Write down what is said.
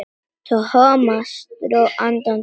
Thomas dró andann djúpt.